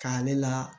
K'a ale la